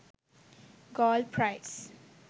gold price